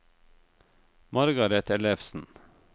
Margareth Ellefsen